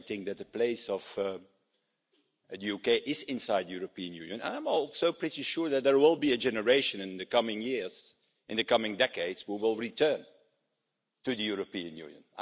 I think that the place of the UK is inside the European Union, and I'm also pretty sure that there will be a generation in the coming years, in the coming decades, who will return to the European Union.